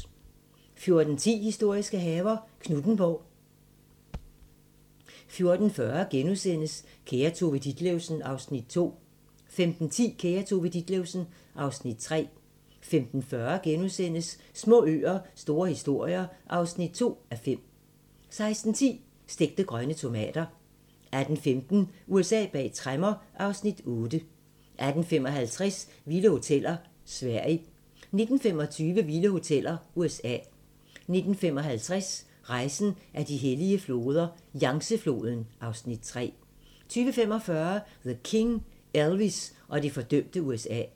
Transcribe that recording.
14:10: Historiske haver - Knuthenborg 14:40: Kære Tove Ditlevsen (Afs. 2)* 15:10: Kære Tove Ditlevsen (Afs. 3) 15:40: Små øer - store historier (2:5)* 16:10: Stegte grønne tomater 18:15: USA bag tremmer (Afs. 8) 18:55: Vilde hoteller: Sverige 19:25: Vilde hoteller: USA 19:55: Rejsen ad de hellige floder - Yangtze-floden (Afs. 3) 20:45: The King - Elvis og det fordømte USA